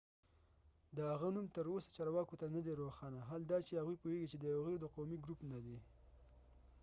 د هغه نوم تر اوسه چارواکو ته نه دي روښانه حال دا چې هغوي پوهیږی چې د ایغور ighuru د قومی ګروپ نه دي